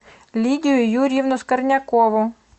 лидию юрьевну скорнякову